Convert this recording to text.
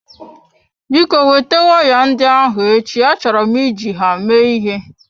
Biko weta waya ndị ahụ echi, achọrọ m iji ha mee ịhe.